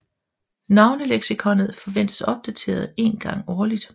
Navneleksikonet forventes opdateret en gang årligt